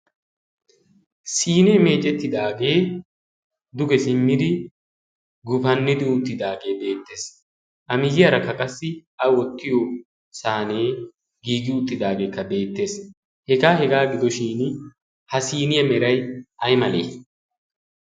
siinee meeceettidaagee duge simmidi gufannidi utidaagee beetes, a miyiyarakka qassi a wottiyo saynee giigi uttidaagee beettees, hegaa hegaa gidoshini ha siiniya meray ay malee?